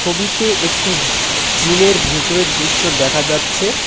ছবিতে একটি জিম -এর ভেতরের দৃশ্য দেখা যাচ্ছে।